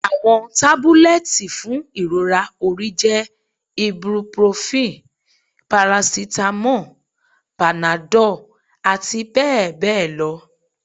Awọn tabulẹti fun irora ori jẹ ibuprofen, paracetamol, Panadol ati bẹ́ẹ̀ bẹ́ẹ̀ lọ